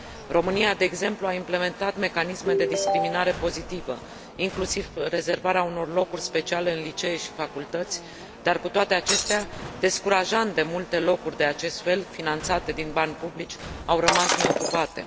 România, de exemplu, a implementat mecanisme de discriminare pozitivă, inclusiv rezervarea unor locuri speciale în licee și facultăți, dar, cu toate acestea, descurajant de multe locuri de acest fel, finanțate din bani publici, au rămas neocupate.